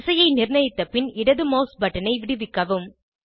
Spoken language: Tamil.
திசையை நிர்ணயித்த பின் இடது மவுஸ் பட்டனை விடுவிக்கவும்